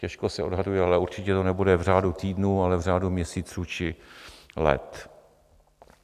Těžko se odhaduje, ale určitě to nebude v řádu týdnů, ale v řádu měsíců či let.